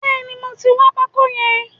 Bẹ́ẹ̀ni, mo ti wọn pákó yẹn.